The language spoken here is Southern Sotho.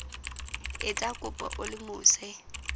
etsa kopo o le mose